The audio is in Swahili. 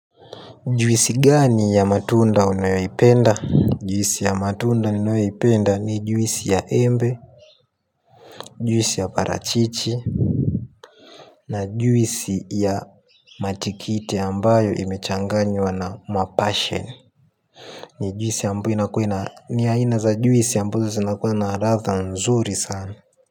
Juisi gani ya matunda unayoipenda? Nmjuisi ya matunda unayoipenda ni juisi ya embe, juisi ya parachichi. Na juisi ya matikite ambayo imechanganywa na mapashen. Ni juisi ambayo inakuwa na ni aina za juisi ambazo zinakunlwa ladha nzuri sana.